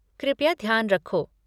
कृपया ध्यान रखो।